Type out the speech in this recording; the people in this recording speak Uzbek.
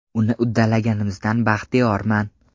Uni uddalaganimizdan baxtiyorman.